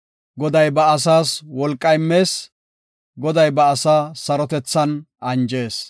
Goday ba asaas wolqa immees. Goday ba asaa sarotethan anjees.